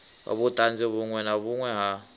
vhuṱanzu vhuṅwe na vhuṅwe ha